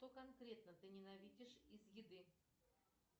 что конкретно ты ненавидишь из еды